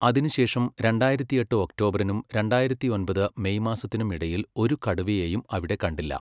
അതിനുശേഷം, രണ്ടായിരത്തിയെട്ട് ഒക്ടോബറിനും രണ്ടായിരത്തിയൊമ്പത് മെയ് മാസത്തിനും ഇടയിൽ ഒരു കടുവയെയും അവിടെ കണ്ടില്ല.